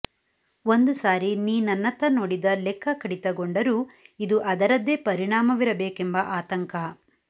ಒಂದು ಸಾರಿ ನೀ ನನ್ನತ್ತ ನೋಡಿದ ಲೆಕ್ಕ ಕಡಿತಗೊಂಡರೂ ಇದು ಅದರದ್ದೇ ಪರಿಣಾಮವಿರಬೇಕೆಂಬ ಆತಂಕ